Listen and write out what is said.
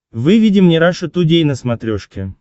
выведи мне раша тудей на смотрешке